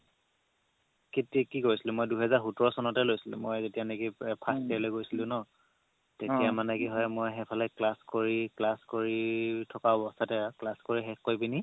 কি কৰিছিলো মই দুহেজাৰ সোতৰ চনতে লৈছিলো মই যেতিয়া নেকি first year লে গৈছিলো ন তেতিয়া মানে কি হয় মই সেইফালে class কৰি class কৰি থকা অৱস্থাতে class কৰি শেষ কৰি পিনি